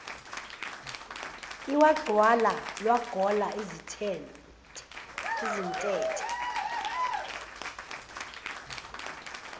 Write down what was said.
lwagcwala lwagola izintethe